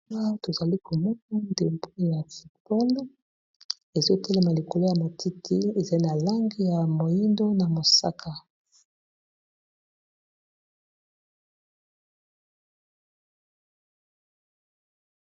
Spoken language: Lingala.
Tozali komona ndempo ya futball ezotelema likolo ya matiti ezali na lange ya moindo na mosaka.